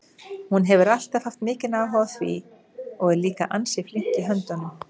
Hún hefur alltaf haft mikinn áhuga á því og er líka ansi flink í höndunum.